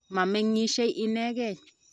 ma meng'isie inegei